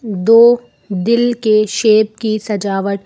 दो दिल के शेप की सजावट--